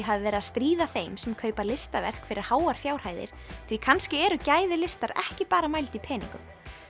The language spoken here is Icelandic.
hafi verið að stríða þeim sem kaupa listaverk fyrir háar fjárhæðir því kannski eru gæði listar ekki bara mæld í peningum